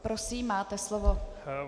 Prosím, máte slovo.